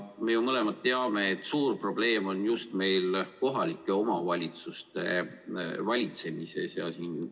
Me mõlemad teame, et suur probleem on just kohalike omavalitsuste valitsemises.